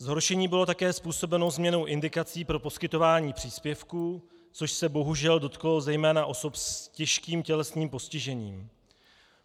Zhoršení bylo také způsobeno změnou indikací pro poskytování příspěvků, což se bohužel dotklo zejména osob s těžkým tělesným postižením.